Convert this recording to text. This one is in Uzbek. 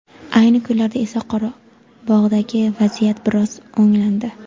Ayni kunlarda esa Qorabog‘dagi vaziyat biroz o‘nglandi.